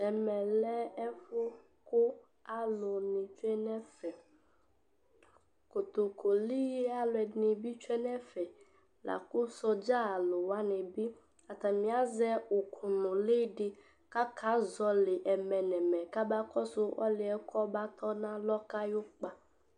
Ɛmɛ lɛ ɛfu kʋ alʋni tsue n'ɛfɛKotokoli alʋɛɖinibi tsue n'fɛ, lakʋ sɔdza lʋwa nibiatami azɛ ʋkʋ nʋliɖi k'akazɔli ɛmɛ nʋ ɛmɛ kabakɔsʋ ɔliɛ kɔba tɔ n'alɔka ayukpa